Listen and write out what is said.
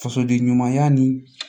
Fasoden ɲumanya ni